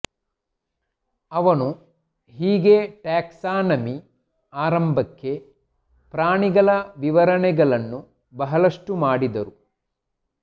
ಅವನು ಹೀಗೆ ಟ್ಯಾಕ್ಸಾನಮಿ ಆರಂಭಕ್ಕೆ ಪ್ರಾಣಿಗಳ ವಿವರಣೆಗಳನ್ನು ಬಹಳಷ್ಟು ಮಾಡಿದರು